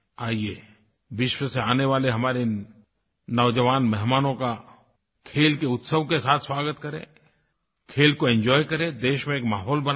आइये विश्व से आने वाले हमारे नौजवान मेहमानों का खेल के उत्सव के साथ स्वागत करें खेल को एंजॉय करें देश में एक माहौल बनाएं